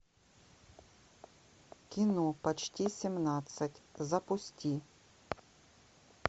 кино почти семнадцать запусти